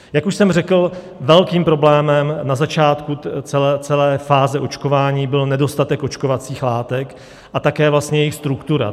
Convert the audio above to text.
Jak už jsem řekl, velkým problémem na začátku celé fáze očkování byl nedostatek očkovacích látek a také vlastně jejich struktura.